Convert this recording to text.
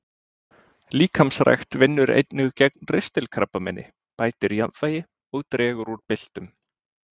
Líkamsrækt vinnur einnig gegn ristilkrabbameini, bætir jafnvægi og dregur úr byltum.